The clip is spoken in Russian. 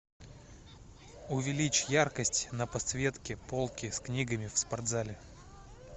увеличь яркость на подсветке полки с книгами в спортзале